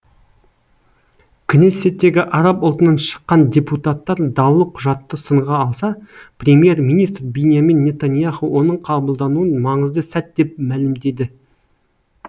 кнессеттегі араб ұлтынан шыққан депутаттар даулы құжатты сынға алса премьер министр биньямин нетаньяху оның қабылдануын маңызды сәт деп мәлімдеді